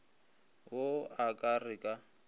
wo a ka re ka